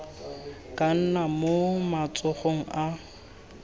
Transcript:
ka nna mo matsogong a